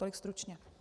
Tolik stručně.